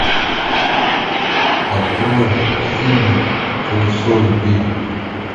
открой фильмик колесо любви